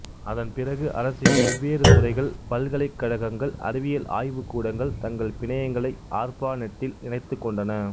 அதன்பிறகுஅரசின் வெவ்வேறு துறைகள் பல்கலைக் கழகங்கள் அறிவியல் ஆய்வுக்கூடங்கள் தங்கள் பிணையங்களை ஆர்ப்பாநெட்டில் இணைத்துக் கொண்டன